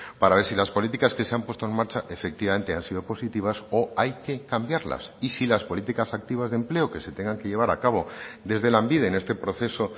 para ver si las políticas que se han puesto en marcha efectivamente han sido positivas o hay que cambiarlas y si las políticas activas de empleo que se tengan que llevar a cabo desde lanbide en este proceso